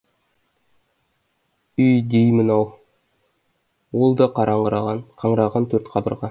үй деймін ау ол да қаңыраған төрт қабырға